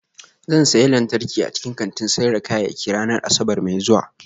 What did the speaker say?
Zan sayi lantarki a cikin kantin sayar da kayayyaki ranar Asabar mai zuwa